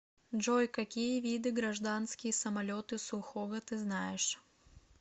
джой какие виды гражданские самолеты сухого ты знаешь